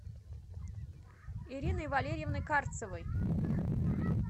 ириной валерьевной карцевой